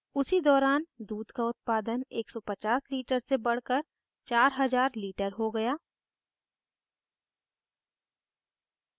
उसी दौरान दूध का उत्पादन 150 litres से बढ़कर 4000 litres हो गया